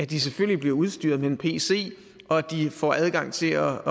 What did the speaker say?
de selvfølgelig bliver udstyret med en pc og at de får adgang til at